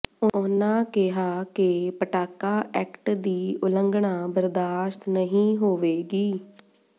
ਉਨ੍ਹਾਂ ਕਿਹਾ ਕਿ ਪਟਾਕਾ ਐਕਟ ਦੀ ਉਲੰਘਣਾ ਬਰਦਾਸ਼ਤ ਨਹੀਂ ਹੋਵੇਗੀ